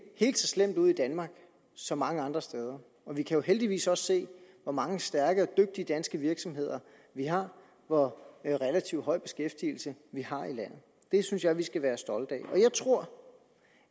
helt så slemt ud i danmark som mange andre steder og vi kan jo heldigvis også se hvor mange stærke og dygtige danske virksomheder vi har og hvor relativt høj beskæftigelse vi har i landet det synes jeg vi skal være stolte af jeg tror